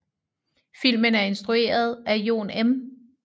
Filmen er instrueret af Jon M